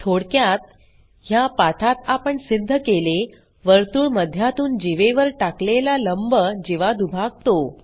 थोडक्यात ह्या पाठात आपण सिध्द केले वर्तुळ मध्यातून जीवेवर टाकलेला लंब जीवा दुभागतो